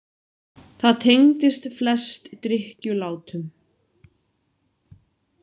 Það tengdist flest drykkjulátum.